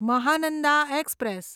Mahananda express